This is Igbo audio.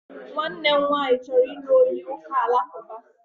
Nwannem nwanyi choro ilu onye uka Alakuba